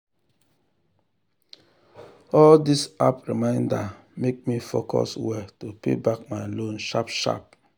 all these app reminder make me focus well to pay back my loan sharp sharp.